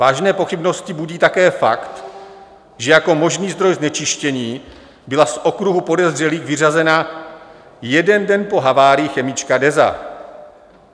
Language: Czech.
Vážné pochybnosti budí také fakt, že jako možný zdroj znečištění byla z okruhu podezřelých vyřazena jeden den po havárii chemička DEZA.